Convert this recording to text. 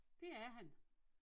Det er han